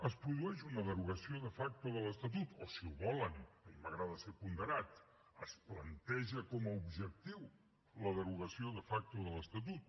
es produeix una derogació de facto de l’estatut o si ho volen a mi m’agrada ser ponderat es planteja com a objectiu la derogació de facto de l’estatut